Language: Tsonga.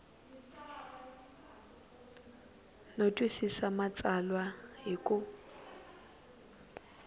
no twisisa matsalwa hi ku